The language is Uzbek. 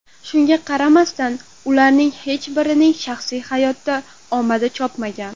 Shunga qaramasdan, ularning hech birining shaxsiy hayotda omadi chopmagan.